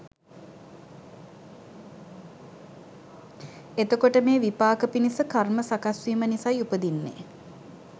එතකොට මේ විපාක පිණිස කර්ම සකස්වීම නිසයි උපදින්නේ